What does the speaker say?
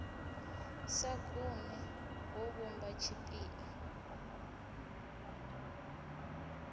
sa gumi hu vhumba tshipiḓa